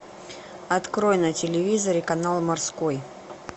открой на телевизоре канал морской